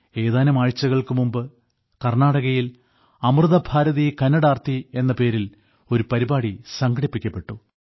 ഏതാനും ആഴ്ചകൾക്കു മുൻപ് കർണ്ണാടകയിൽ അമൃത ഭാരതീ കന്നടാർത്ഥി എന്ന പേരിൽ ഒരു പാരിപാടി സംഘടിപ്പിക്കപ്പെട്ടു